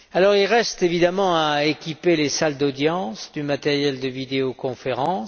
Il reste évidemment à équiper les salles d'audience du matériel de vidéoconférence.